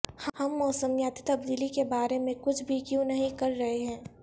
ہم موسمیاتی تبدیلی کے بارے میں کچھ بھی کیوں نہیں کر رہے ہیں